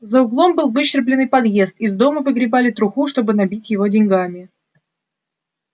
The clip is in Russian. за углом был выщербленный подъезд из дома выгребали труху чтобы набить его деньгами